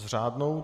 S řádnou?